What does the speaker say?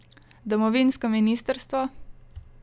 Domovinsko ministrstvo?